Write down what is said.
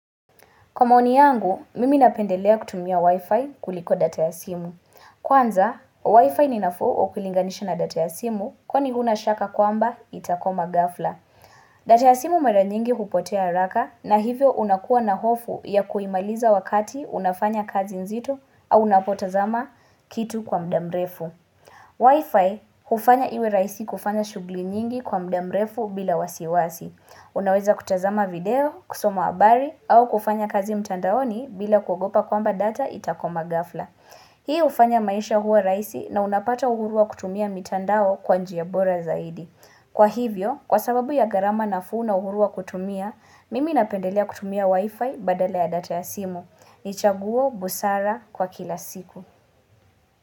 Kwa maoni yangu, mimi napendelea kutumia Wi-Fi kuliko data ya simu. Kwanza, Wi-Fi ni nafuu ukilinganisha na data ya simu kwani huna shaka kwamba itakwama ghafla. Data ya simu mara nyingi hupotea haraka na hivyo unakuwa na hofu ya kuimaliza wakati unafanya kazi nzito au unapotazama kitu kwa muda mrefu. Wi-Fi hufanya iwe rahisi kufanya shuguli nyingi kwa muda mrefu bila wasiwasi. Unaweza kutazama video, kusoma habari au kufanya kazi mtandaoni bila kuogopa kwamba data itakwama gafla. Hii hufanya maisha huwa rahisi na unapata uhuru wa kutumia mtandao kwa njia bora zaidi. Kwa hivyo, kwa sababu ya gharama nafuu na uhuru wa kutumia, mimi napendelea kutumia wifi badala ya data ya simu. Ni chaguo, busara, kwa kila siku.